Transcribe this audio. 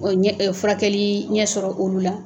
O ɲɛ furakɛlii ɲɛ sɔrɔ olu la